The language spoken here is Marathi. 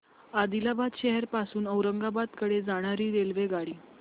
आदिलाबाद शहर पासून औरंगाबाद कडे जाणारी रेल्वेगाडी